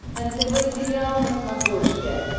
нтв сериал на смотрешке